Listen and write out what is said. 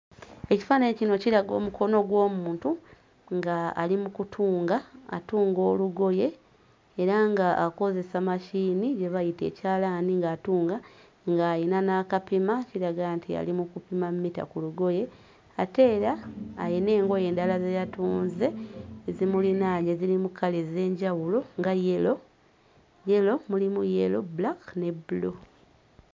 Ekifaananyi kino kiraga omukono gw'omuntu ng'ali mu kutunga atunga olugoye era ng'akozesa masiini gye bayita ekyalaani ng'atunga ng'ayina n'akapima kiraga nti yali mu kupima mmita ku lugoye ate era ayina engoye endala ze yatunze ezimulinaanye ezirimu kkala ez'enjawulo nya yero, mulimu yero, bbulaaka ne bbulu.